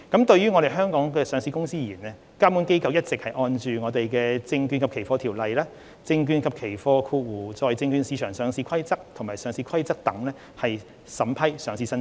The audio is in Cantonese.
就於香港上市的公司而言，監管機構一直按《證券及期貨條例》、《證券及期貨規則》和《上市規則》等法規審批上市申請。